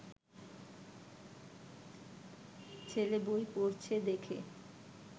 ছেলে বই পড়ছে দেখে